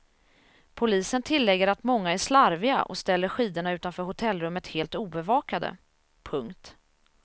Polisen tillägger att många är slarviga och ställer skidorna utanför hotellrummet helt obevakade. punkt